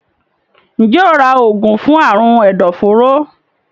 Njé óò rà oògùn fún Àrùn ẹdọforó?